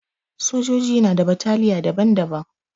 Sojoji na da bataliya daban-daban.